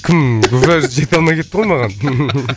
кім жете алмай кетті ғой маған